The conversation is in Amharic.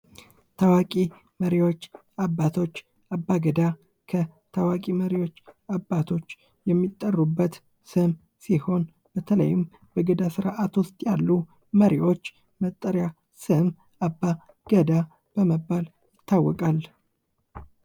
ታዋቂ መሪዎች አባቶች አባ ገዳ መሪዎች አባቶች የሚጠሩበት ስም ሲሆን በተለይ በገዳ ስርአት ውስጥ ያሉ መሪዎች መጠሪያ ስም አባ ገዳ በመባል ይታወቃል፡፡